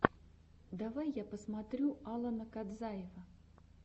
давай я посмотрю алана кадзаева